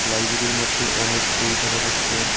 লাইব্রেরীর মধ্যে অনেক বই দেখা যাচ্ছে।